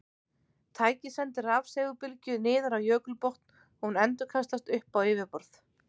Tækið sendir rafsegulbylgju niður á jökulbotn og hún endurkastast upp á yfirborð.